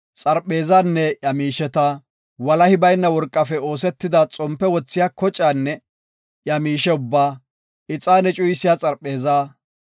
xarpheezanne iya miisheta, walahi bayna worqafe oosetida xompe wothiya kocaanne iya miishe ubbaa, ixaane cuyisiya xarpheezaa,